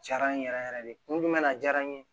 Jara n ye yɛrɛ yɛrɛ de kun jumɛn na diyara n ye